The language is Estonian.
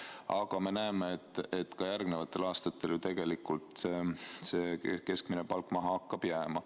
Aga me näeme, et ka järgnevatel aastatel hakkab see keskmine palk maha jääma.